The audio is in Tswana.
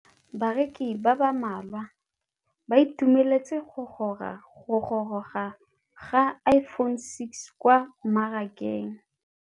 Bareki ba ba malwa ba ituemeletse go gôrôga ga Iphone6 kwa mmarakeng.